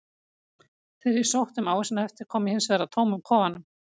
Þegar ég sótti um ávísanahefti kom ég hins vegar að tómum kofanum.